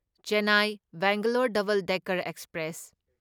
Chennai Bangalore Double Decker express